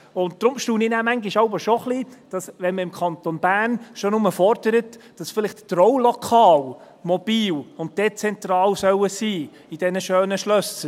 Deshalb staune ich manchmal schon ein wenig, wenn man im Kanton Bern schon nur fordert, dass vielleicht die Traulokale in diesen schönen Schlössern mobil und dezentral sein sollen.